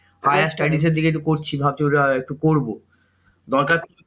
Higher studies এর দিকে একটু করছি ভাবছি ওটা একটু করবো। দরকার